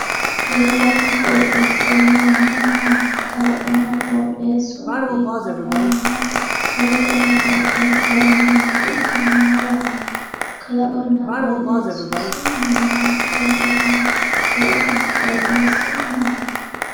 kalaqonna qooxeessa yineemmohu maati kalaqonna qooxeessu hiikko afamanno qalaqonna qooxeessaho yineemmorichi maa lawanno kalaqonna qooxeessu isi mamaanni kalaqamino kalaqonna qooxeessu maati.